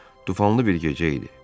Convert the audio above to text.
Tufanlı bir gecə idi.